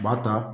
U b'a ta